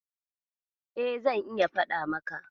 E, zan iya faɗa maka.